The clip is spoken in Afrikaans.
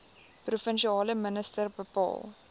provinsiale minister bepaal